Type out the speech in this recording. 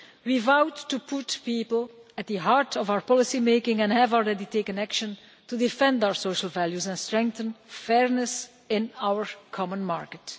We vowed to put people at the heart of our policymaking and we have already taken action to defend our social values and strengthen fairness in our common market.